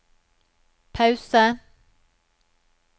pause